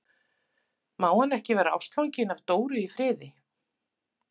Má hann ekki vera ástfanginn af Dóru í friði?